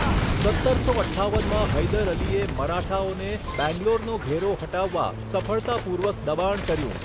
સત્તરસો અઠ્ઠાવનમાં હૈદર અલીએ મરાઠાઓને બેંગ્લોરનો ઘેરો હટાવવા સફળતાપૂર્વક દબાણ કર્યું.